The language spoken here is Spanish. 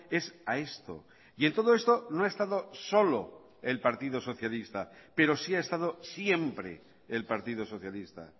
es a esto y en todo esto no ha estado solo el partido socialista pero sí ha estado siempre el partido socialista